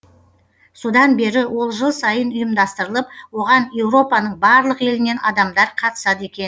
содан бері ол жыл сайын ұйымдастырылып оған еуропаның барлық елінен адамдар қатысады екен